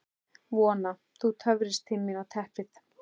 Vona: Þú töfrist til mín á teppið.